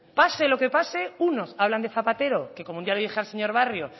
pase lo que pase unos hablan de zapatero que como ya le dije al señor barrio